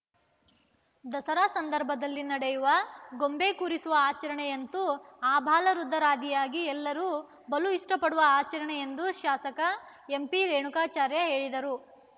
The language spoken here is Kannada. ದಸರಾ ಸಂದರ್ಭದಲ್ಲಿ ನಡೆಯುವ ಗೊಂಬೆ ಕೂರಿಸುವ ಆಚರಣೆಯಂತೂ ಆಬಾಲವೃದ್ಧರಾದಿಯಾಗಿ ಎಲ್ಲರು ಬಲು ಇಷ್ಟಪಡುವ ಆಚರಣೆ ಎಂದು ಶಾಸಕ ಎಂಪಿ ರೇಣುಕಾಚಾರ್ಯ ಹೇಳಿದರು